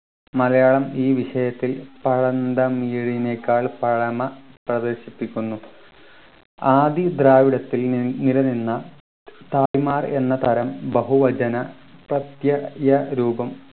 മലയാളം ഈ വിഷയത്തിൽ പഴന്തമിഴിനേക്കാൾ പഴമ പ്രദർശിപ്പിക്കുന്നു ആദി ദ്രാവിഡത്തിൽ നിന്ന് നിലനിന്ന എന്ന തരം ബഹുവചന പ്രത്യയ രൂപം